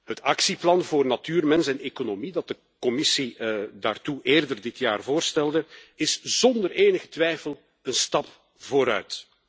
Het Actieplan voor natuur, mens en economie dat de Commissie daartoe eerder dit jaar voorstelde, is zonder enige twijfel een stap vooruit.